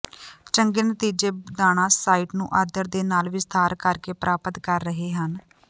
ਚੰਗੇ ਨਤੀਜੇ ਦਾਣਾ ਸਾਈਟ ਨੂੰ ਆਦਰ ਦੇ ਨਾਲ ਵਿਸਥਾਰ ਕਰ ਕੇ ਪ੍ਰਾਪਤ ਕਰ ਰਹੇ ਹਨ